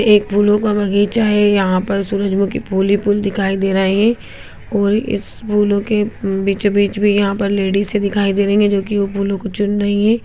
एक फूलों का बगीचा है यहां पर सूरजमुखी फूल ही फूल दिखाई दे रहे हैं और इस फूलों के बीचों-बीच भी यहाँ पर लेडीसें दिखाई दे रही हैं जो कि वो फूलो को चुन रही हैं।